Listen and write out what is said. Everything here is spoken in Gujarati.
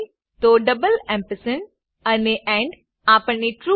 હોય તો અને એન્ડ આપણને ટ્રૂ